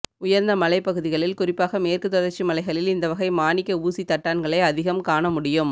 உயர்ந்த மலைப்பகுதிகளில் குறிப்பாக மேற்கு தொடர்ச்சி மலைகளில் இந்த வகை மாணிக்க ஊசித்தட்டான்களை அதிகம் காணமுடியும்